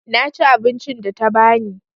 Na ci abincin da ta ba ni.